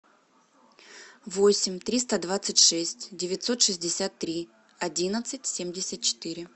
восемь триста двадцать шесть девятьсот шестьдесят три одиннадцать семьдесят четыре